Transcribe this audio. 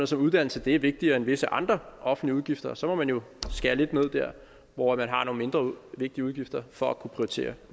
som uddannelse er vigtigere end visse andre offentlige udgifter og så må man jo skære lidt ned der hvor man har nogle mindre vigtige udgifter for at kunne prioritere